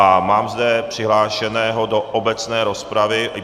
A mám zde přihlášeného do obecné rozpravy.